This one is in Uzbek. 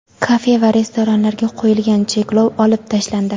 Kafe va restoranlarga qo‘yilgan cheklov olib tashlandi.